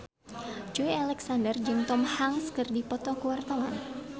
Joey Alexander jeung Tom Hanks keur dipoto ku wartawan